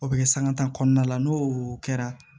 O bɛ kɛ sanga tan kɔnɔna la n'o kɛra